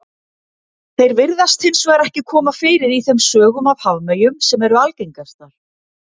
Þeir virðast hins vegar ekki koma fyrir í þeim sögum af hafmeyjum sem eru algengastar.